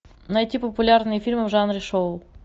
найти популярные фильмы в жанре шоу